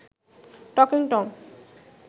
talking Tom